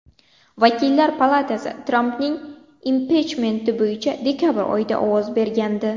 Vakillar palatasi Trampning impichmenti bo‘yicha dekabr oyida ovoz bergandi.